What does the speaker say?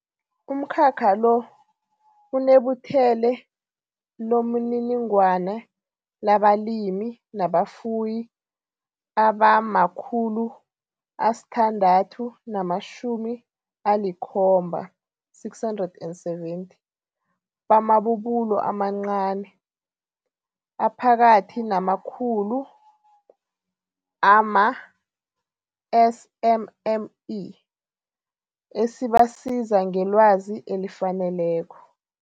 Umkhakha lo uneButhele lomininingwana labalimi nabafuyi abama-670 bamabubulo amaNcani, aPhakathi namaKhulu, ama-SMME, esibasiza ngelwazi elifaneleko.